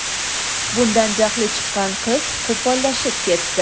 Bundan jahli chiqqan qiz qo‘pollashib ketdi.